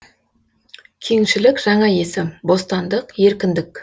кеңшілік жаңа есім бостандық еркіндік